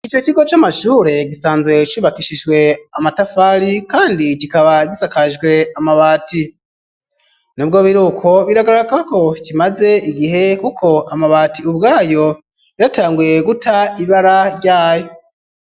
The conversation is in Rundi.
Ico kigo c'amashure gisanzwe cubakishijwe amatafari kandi kikaba gisakajwe amabati nibwo biruko biragara ko kimaze igihe kuko amabati ubwayo yaratanguye guta ibara ryayo.